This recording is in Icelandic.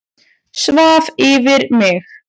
Svaf yfir mig